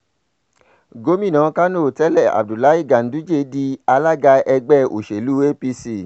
gomina kánò tẹ̀lé abdullahi ganduje di alaga ẹgbẹ́ òsèlú apc